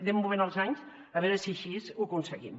anem movent els anys a veure si així ho aconseguim